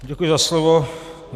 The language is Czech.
Děkuji za slovo.